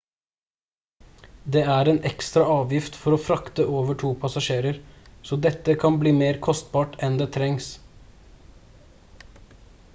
det er en ekstra avgift for å frakte over to passasjerer så dette kan bli mer kostbart enn det trengs